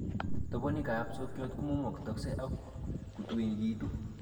Tobonikab sokyot komumutokse ak kotuekitun